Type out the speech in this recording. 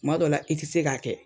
Tuma dɔ la i tɛ se k'a kɛ